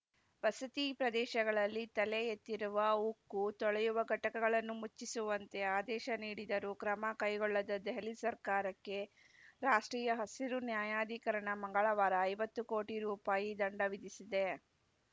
ವಸತಿ ಪ್ರದೇಶಗಳಲ್ಲಿ ತಲೆ ಎತ್ತಿರುವ ಉಕ್ಕು ತೊಳೆಯುವ ಘಟಕಗಳನ್ನು ಮುಚ್ಚಿಸುವಂತೆ ಆದೇಶ ನೀಡಿದ್ದರೂ ಕ್ರಮ ಕೈಗೊಳ್ಳದ ದೆಹಲಿ ಸರ್ಕಾರಕ್ಕೆ ರಾಷ್ಟ್ರೀಯ ಹಸಿರು ನ್ಯಾಯಾಧಿಕರಣ ಮಂಗಳವಾರ ಐವತ್ತು ಕೋಟಿ ರೂಪಾಯಿ ದಂಡ ವಿಧಿಸಿದೆ